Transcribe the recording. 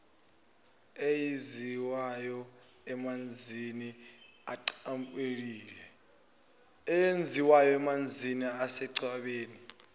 eyenziwayo emanzini asechwebeni